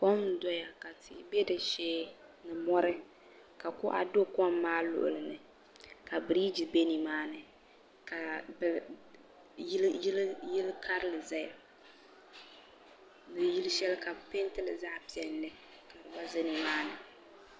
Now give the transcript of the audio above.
Kom n doya ka tihi be di shee ni mori ka kuɣa do kom maa luɣulini ka biriji be nimaani ka yili karili zaya ni yili sheli ka bɛ pentili zaɣa piɛlli ka di gba za nimaani.